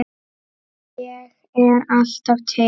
Ég er alltaf til.